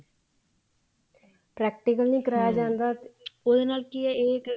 practical ਨੀ ਕਰਵਾਇਆ ਜਾਂਦਾ ਉਹਦੇ ਨਾਲ ਕੀ ਆ ਇਹ ਇੱਕ